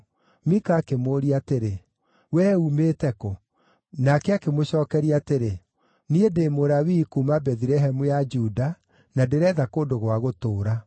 Mika akĩmũũria atĩrĩ, “Wee uumĩte kũ?” Nake akĩmũcookeria atĩrĩ, “Niĩ ndĩ Mũlawii kuuma Bethilehemu ya Juda, na ndĩreetha kũndũ gwa gũtũũra.”